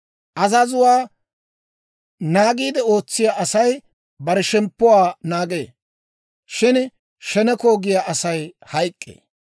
Azazuwaa naagiide ootsiyaa asay, bare shemppuwaa naagee; shin sheneko giyaa Asay hayk'k'ee.